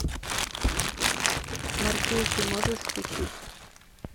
морпехи можешь включить